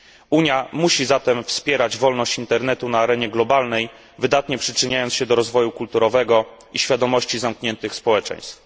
Unia musi zatem wspierać wolność Internetu na arenie światowej, wydatnie przyczyniając się do rozwoju kulturowego i świadomości zamkniętych społeczeństw.